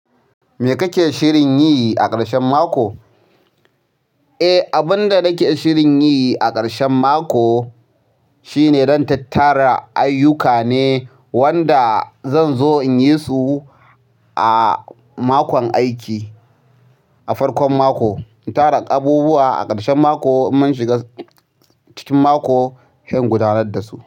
Me kake shirin yi a ƙarshen mako? Eh, abun da nake shirin yi a ƙarshen mako shine zan tattara ayyuka ne wanda zan zo in yi su a makon aiki, a farkon mako. In tara abubuwa a ƙarshen mako, in mun shiga cikin mako he ingudanar da su.